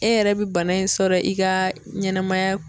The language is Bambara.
E yɛrɛ bɛ bana in sɔrɔ i ka ɲɛnɛmaya